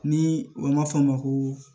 Ni u ma fɔ a ma ko